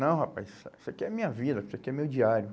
Não rapaz, isso isso aqui é minha vida, isso aqui é meu diário.